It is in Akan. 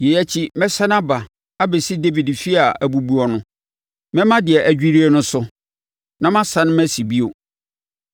“ ‘Yei akyi, mɛsane aba abɛsi Dawid efie a abubu no. Mɛma deɛ adwirie no so, na ma sane masi bio,